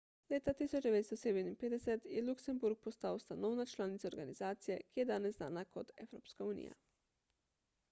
leta 1957 je luksemburg postal ustanovna članica organizacije ki je danes znana kot evropska unija